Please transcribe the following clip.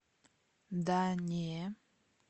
да не